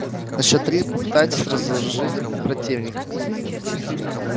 на счёт три попытайтесь разоружить противника